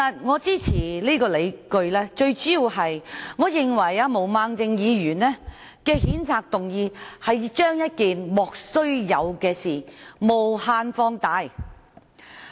我支持的最主要原因，是毛孟靜議員的譴責議案把一件"莫須有"的事件無限放大。